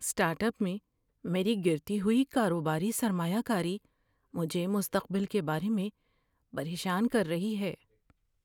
Start up میں میری گرتی ہوئی کاروباری سرمایہ کاری مجھے مستقبل کے بارے میں پریشان کر رہی ہے۔